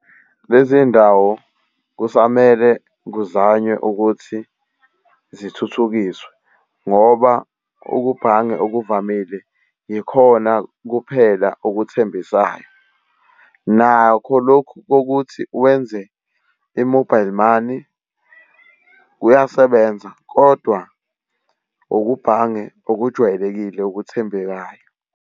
Lezi ndawo kusamele kuzanywe ukuthi zithuthukiswe, ngoba ukubhanga okuvamile yikhona kuphela okuthembisayo. Nakho lokhu kokuthi wenze i-mobile money kuyasebenza kodwa ukubhange okujwayelekile okuthembekayo.